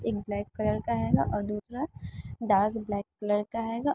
एक black colour का हैगा और दूसरा डार्क ब्लैक कलर का हैगा।